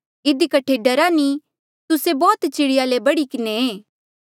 इधी कठे डरा नी तुस्से बौह्त चिड़िया ले बढ़ी किन्हें ऐें